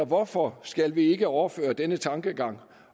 hvorfor skal vi ikke overføre den tankegang